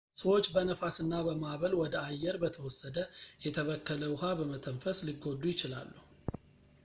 ሰዎች በነፋስ እና በማዕበል ወደ አየር በተወሰደ የተበከለ ውሃ በመተንፈስ ሊጎዱ ይችላሉ